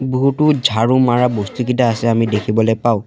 বহুতো ঝাৰু মাৰা বস্তুকেইটা আছে আমি দেখিবলৈ পাওঁ।